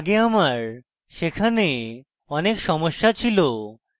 আগে আমার সেখানে অনেক সমস্যা ছিল